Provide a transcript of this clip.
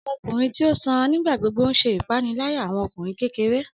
Ọmọkunrin ti o sanra nigbagbogbo n ṣe ipanilaya awọn ọmọkunrin kekere.